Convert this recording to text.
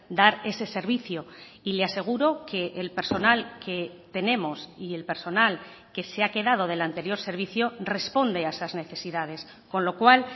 dar ese servicio y le aseguro que el personal que tenemos y el personal que se ha quedado del anterior servicio responde a esas necesidades con lo cual